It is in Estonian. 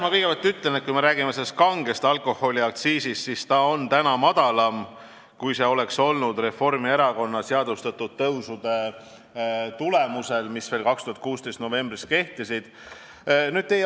Ma kõigepealt ütlen, et kui me räägime kange alkoholi aktsiisist, siis see on täna madalam, kui see oleks olnud Reformierakonna seadustatud tõusude tulemusel, mis veel 2016. aasta novembris kehtisid.